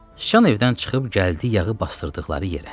Sıçan evdən çıxıb gəldi yağı basdırdıqları yerə.